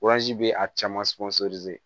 bɛ a caman